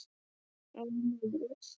Og lífið.